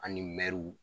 An ni mɛruw